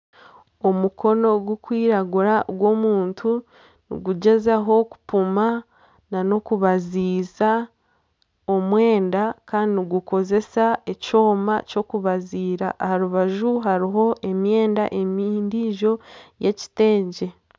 Omukono gurikwiragura gw'omuntu nigugyezaho kupima n'okubaziira omwenda kandi nigukoresa ekyoma ky'okubaziira aha rubaju hariho emyenda endiijo y'ekiteegye